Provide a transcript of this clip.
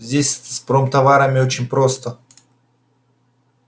здесь с промтоварами очень просто